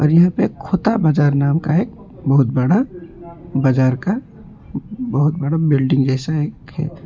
यहां पर खोता बाजार नाम का एक बहुत बड़ा बाजार का बहुत बड़ा बिल्डिंग जैसा एक--